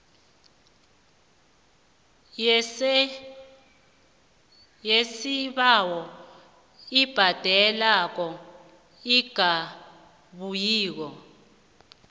yesibawo ebhadelwako engabuyiko